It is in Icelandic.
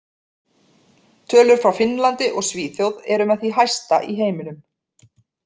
Tölur frá Finnlandi og Svíþjóð eru með því hæsta í heiminum.